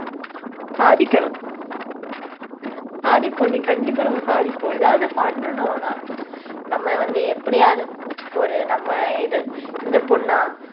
சாதிக்கணும். சாதிப்போம்டி கண்டிப்பா நம்ம சாதிப்போம். எதாவது பண்ணணும் ஆனா, நம்ம வந்து எப்படியாவது ஒரு நம்ம இது இந்த பொண்ணா